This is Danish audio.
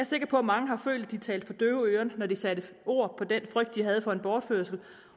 sikker på at mange har følt at de talte for døve øren når de satte ord på den frygt de havde for en bortførelse